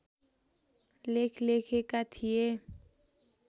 लेख लेखेका थिए